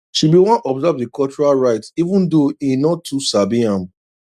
she been wan observe the cultural rites even thou he no too sabi am